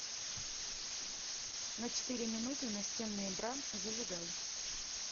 на четыре минуты настенные бра зажигай